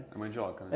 a mandioca, né